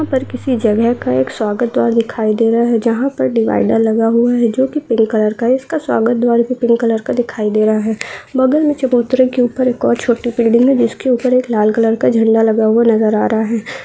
यंहा पर किसी जगह का एक स्वागत द्वार दिखाई दे रहा है जंहा पर डिवाईडर लगा हुआ है जो की पिंक कलर का है इसका स्वागत द्वार भी पिंक कलर का दिखाई दे रहा है बगल में चबूतरे के ऊपर एक और छोटी बिल्डिंग है जिसके ऊपर एक लाल कलर का झंडा लगा हुआ नजर आ रहा है।